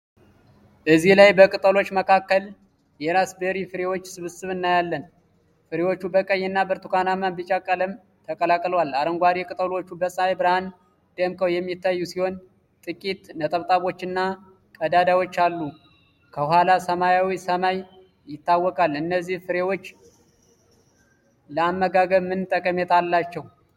እዚህ ላይ በቅጠሎች መካከል የራስበሪ ፍሬዎችን ስብስብ እናያለን። ፍሬዎቹ በቀይ እና ብርቱካናማ-ቢጫ ቀለሞች ተቀላቅለዋል። አረንጓዴ ቅጠሎቹ በፀሐይ ብርሃን ደምቀው የሚታዩ ሲሆን ጥቂት ነጠብጣቦችና ቀዳዳዎች አሉ። ከኋላ ሰማያዊ ሰማይ ይታወቃል። እነዚህ ፍሬዎች ለአመጋገብ ምን ጠቀሜታ አላቸው?